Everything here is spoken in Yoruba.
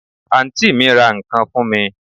Àǹtí mi ra ǹkan fún mi